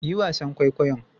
Yi wasan kwaikwayon.